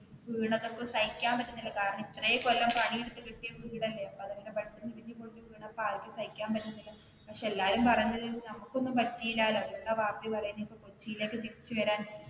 വീഴുന്നതൊക്കെ സഹിക്കാൻ പറ്റുന്നില്ല കാരണം ഇത്രേം കൊല്ലം പണിതു എടുത്തു കെട്ടിയ വീടല്ലേ അപ്പൊ അതങ്ങനെ പെട്ടെന്ന് ഇടിഞ്ഞു പൊളിഞ്ഞു വീണപ്പോൾ ആർക്കും സഹിക്കാൻ പറ്റുന്നില്ല. പിന്നെ എല്ലാരുംപറയുന്നത് നമുക്ക് ഒന്നും പറ്റില്ലാലോ അതുകൊണ്ടാ വാപ്പീം പറയുന്നേ കൊച്ചിലേക്ക് തിരിച്ചു വരാൻ.